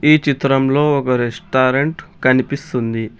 ఈ చిత్రంలో ఒక రెస్టారెంట్ కనిపిస్తుంది.